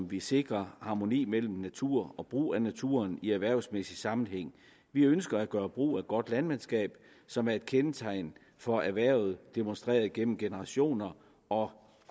vi sikrer harmoni mellem natur og brug af naturen i erhvervsmæssig sammenhæng vi ønsker at gøre brug af godt landmandsskab som er et kendetegn for erhvervet demonstreret gennem generationer og